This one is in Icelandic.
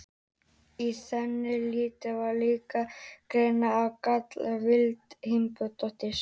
Í þann tíð var líka grynnra á grallaranum í Vigdísi Finnbogadóttur.